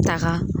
Taga